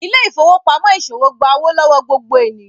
Ile-ifowopamọ iṣowo gbà owo lọwọ gbogbo ènìyàn